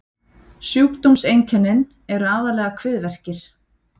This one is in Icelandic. sjúkdómseinkennin eru aðallega kviðverkir